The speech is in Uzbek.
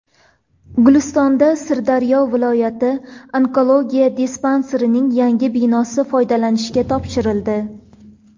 Gulistonda Sirdaryo viloyat onkologiya dispanserining yangi binosi foydalanishga topshirildi.